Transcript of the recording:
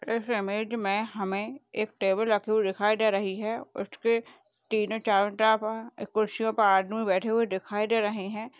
इस इमेज मै हमें एक टेबल रखी हुई दिखाई दे रही है उसके तीनों चारों तरफ कुर्सियों पे आदमी बैठे हुए दिखाई दे रहे है।